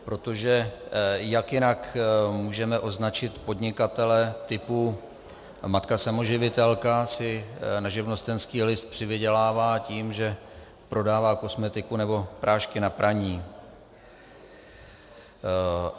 Protože jak jinak můžeme označit podnikatele typu - matka samoživitelka si na živnostenský list přivydělává tím, že prodává kosmetiku nebo prášky na praní.